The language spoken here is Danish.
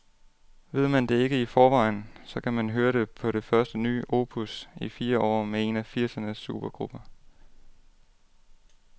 Ved man ikke det i forvejen, så kan man høre det på det første nye opus i fire år med en af firsernes supergrupper.